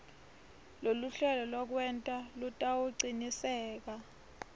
loluhlelo lwekwenta lutawucinisekisa